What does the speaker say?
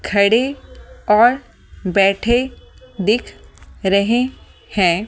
खड़े और बैठे दिख रहे हैं।